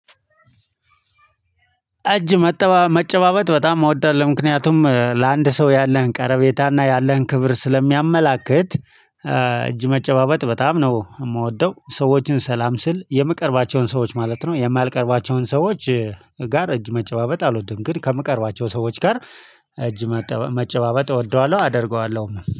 እጅ መጨባበጥ በጣም አወዳለሁ ምክንያቱም ለአንድ ሰው ያለህን ቀረቤታና ያለህን ክብር ስለሚያመላክት። እጅ መጨባበጥ በጣም ነው የምወደው ሰዎችን ሰላም ስል የምቀርባቸውን ሰዎች ማለት ነው። የማልቀርባቸውን ሰዎች ጋር እጅ መጨባበጥ አልወድም ግን ከምቀርባቸው ሰዎች ጋር እጅ መጨባበጥ እወደዋለሁ አደርገዋለሁ